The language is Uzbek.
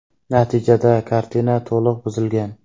Natijada kartina to‘liq buzilgan.